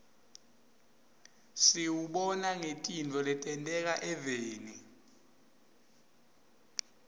siwubona ngetintfo letenteka eveni